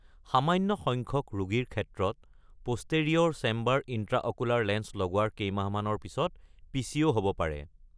সামান্য সংখ্যক ৰোগীৰ ক্ষেত্ৰত, প’ষ্টেৰিঅ’ৰ চেম্বাৰ ইণ্ট্ৰাঅকুলাৰ লেন্স লগোৱাৰ কেইমাহমানৰ পিছত পিচিঅ' হ’ব পাৰে।